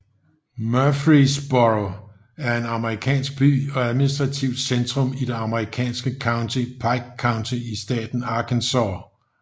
Murfreesboro er en amerikansk by og administrativt centrum i det amerikanske county Pike County i staten Arkansas